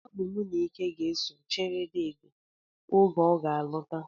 Ọ bụ mụ na Ike ga-eso chere deede oge ọ ga-alọta